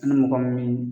Ni mɔgɔ min